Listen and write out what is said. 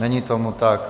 Není tomu tak.